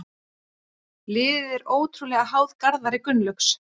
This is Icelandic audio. Liðið er ótrúlega háð Garðari Gunnlaugs.